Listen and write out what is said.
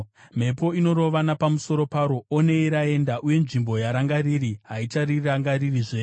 mhepo inorova napamusoro paro onei raenda, uye nzvimbo yaranga riri haicharirangaririzve.